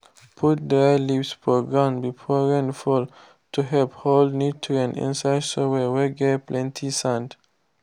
put dry leaves for ground before rain fall to help hold nutrients inside soil whey get plenty sand.